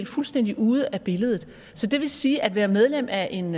fuldstændig ude af billedet så det vil sige at være medlem af en